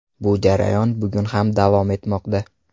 Bu jarayon bugun ham davom etmoqda.